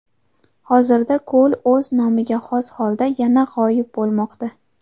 Hozirda ko‘l o‘z nomiga xos holda yana g‘oyib bo‘lmoqda.